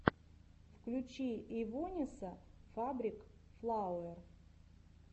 включи эйвонесса фабрик флауэр